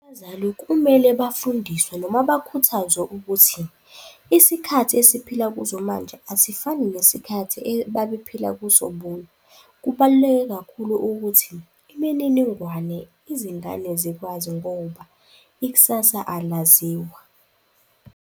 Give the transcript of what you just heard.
Abazali kumele bafundiswe noma bakhuthazwe ukuthi isikhathi esiphila kuzo manje asifani nesikhathi ebabephila kuso bona. Kubaluleke kakhulu ukuthi imininingwane izingane zikwazi ngoba ikusasa alaziwa.